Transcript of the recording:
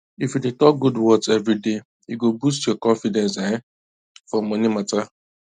if you dey talk good words every day e go boost your confidence um for money matter